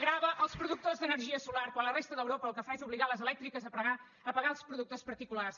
grava els productors d’energia solar quan la resta d’europa el que fa és obligar les elèctriques a pagar els productors particulars